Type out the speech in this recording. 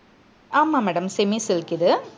ஆமா madam semi silk இது.